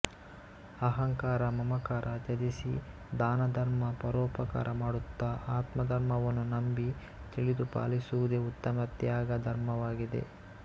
ಅಹಂಕಾರ ಮಮಕಾರ ತ್ಯಜಿಸಿ ದಾನ ಧರ್ಮ ಪರೋಪಕಾರ ಮಾಡುತ್ತಾ ಆತ್ಮ ಧರ್ಮವನ್ನು ನಂಬಿ ತಿಳಿದು ಪಾಲಿಸುವುದೇ ಉತ್ತಮ ತ್ಯಾಗ ಧರ್ಮವಾಗಿದೆ